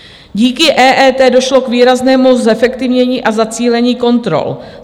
Díky EET došlo k výraznému zefektivnění a zacílení kontrol.